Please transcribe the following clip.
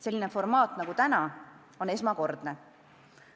Selline formaat nagu täna on esmakordne.